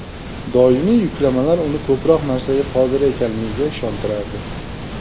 Doimiy yuklamalar uni ko‘proq narsaga qodir ekanligiga ishontirardi.